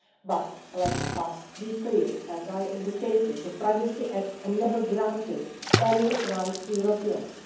But let us be clear as I indicated, the Privacy Act never granted any rights to Europeans.